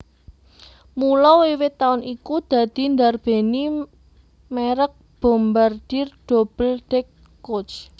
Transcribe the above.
Mula wiwit taun iku dadi ndarbèni mèrek Bombardier Double deck Coach